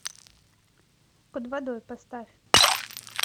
под водой поставь